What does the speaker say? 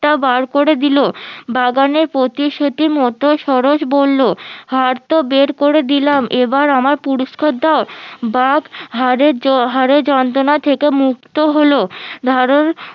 টা বার করে দিলো বাগানের পতি শুতি মতো সরস বললো হারতো বের করে দিলাম এবার আমার পুরস্কার দাও বাঘ হারের হারের যন্ত্রনা থেকে মুক্ত হলো